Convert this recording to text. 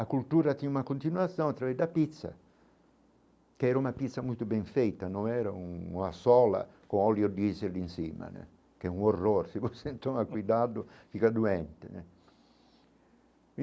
A cultura tinha uma continuação através da pizza, que era uma pizza muito bem feita, não era uma sola com óleo diesel em cima né, que é um horror, se você não tomar cuidado fica doente né.